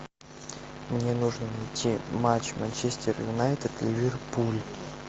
мне нужно найти матч манчестер юнайтед ливерпуль